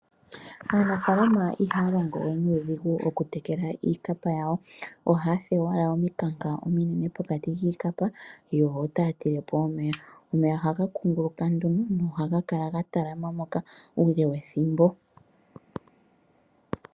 Aanafalama ihaya longo we nuudhigu okutekela iikapa yawo ohaya fulu owala omikanka pokati kiikapa yo otaya tilepo omeya. Omeya ohaga kunguluka nohaga kala ga talama moka uule wethimbo.